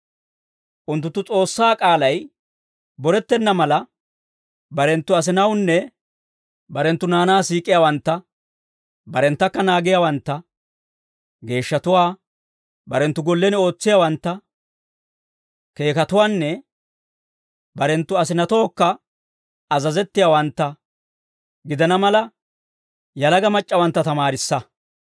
Unttunttu S'oossaa k'aalay borettenna mala, barenttu asinatuwaanne barenttu naanaa siik'iyaawantta, barenttakka naagiyaawantta, geeshshatuwaa, barenttu gollen ootsiyaawantta, keekatuwaanne barenttu asinatookka azazettiyaawantta gidana mala, yalaga mac'c'awantta tamaarissa.